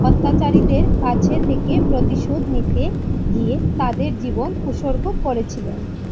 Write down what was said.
অত্যাচারীদের কাছে থেকে প্রতিশোধ নিতে গিয়ে তাদের জীবন উৎসর্গ করেছিলেন।